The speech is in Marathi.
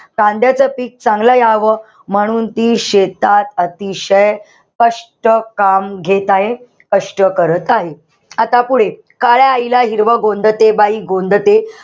कांद्याचं पीक चांगलं यावं म्हणून ती शेतात अतिशय कष्ट, काम घेत आहे. कष्ट करत आहे. आता पुढे, काळ्या आईला हिरवं गोंधते, बाई गोंधते,